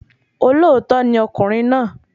Olóòótọ́ ni ọkùnrin náà